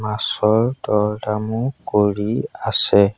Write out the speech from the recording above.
মাছৰ দৰ দামো কৰি আছে।